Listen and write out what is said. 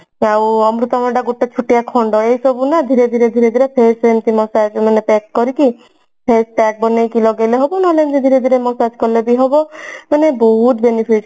ଆଉ ଅମୃତଭଣ୍ଡା ତାର ଗୋଟେ ଛୋଟିଆ ଖଣ୍ଡ ଏସବୁ ନା ଧୀରେ ଧୀରେ ଧୀରେ ଧୀରେ massage ମାନେ pack କରିକି face pack ବନେଇକି ଲଗେଇଲେ ହେବ ନହେଲେ ଏମତି ଧୀରେ ଧୀରେ massage କଲେ ବି ହବ ମାନେ ବହୁତ benefit